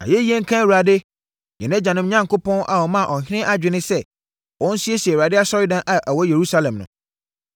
Ayɛyie nka Awurade, yɛn agyanom Onyankopɔn a ɔmaa ɔhene adwene sɛ ɔnsiesie Awurade asɔredan a ɛwɔ Yerusalem no.